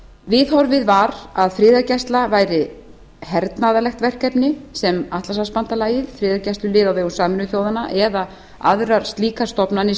viðhorfið var að friðargæsla væri hernaðarlegt verkefni sem atlantshafsbandalagið friðargæslulið á vegum sameinuðu þjóðanna eða aðrar slíkar stofnanir